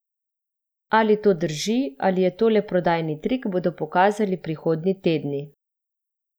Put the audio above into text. Ali to drži ali je to le prodajni trik, bodo pokazali prihodnji tedni.